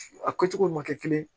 A kɛcogow ma kɛ kelen ye